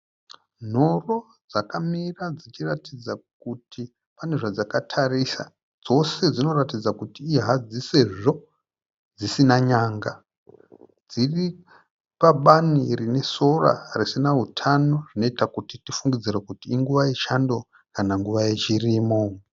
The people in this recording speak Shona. Nhoro dzakamira dzichiratidza kuti pane zvadzakatarisa. Dzose dzinoratidza kuti ihadzi sezvo dzisina n'anga. Dziri pabani rine sora risina hutano zvinoita kuti tifungidzire kuti inguva yechando kana nguva yechirimo.